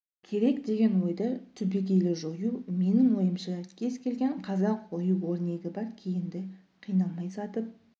керек деген ойды түбегейлі жою менің ойымша кез келген қазақ ою-өрнегі бар киімді қиналмай сатып